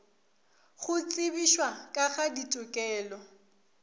go tsebišwa ka ga ditokelo